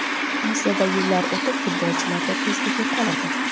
Aslida yillar o‘tib futbolchilarda tezlik yo‘qoladi.